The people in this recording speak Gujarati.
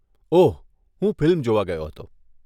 ઓહ, હું ફિલ્મ જોવા ગયો હતો.